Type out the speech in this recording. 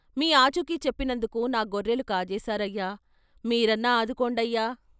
" మీ ఆచూకీ చెప్పినందుకు నా గొర్రెలు కాజేశారయ్యా, మీరన్నా ఆదుకోండయ్యా.